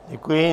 Děkuji.